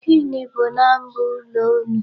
Gịnị bụ number ụlọ unu?